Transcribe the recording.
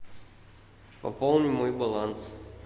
пополни мой баланс